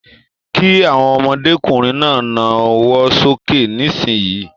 Kí àwọn ọmọdékunrin náà nawọ sókè nisinyi!